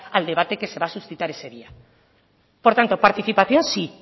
al debate que se va a suscitar ese día por tanto participación sí